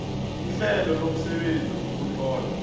ihlelo lomsebenzi wokutlola